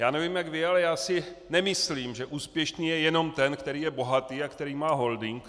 Já nevím jak vy, ale já si nemyslím, že úspěšný je jenom ten, který je bohatý a který má holding.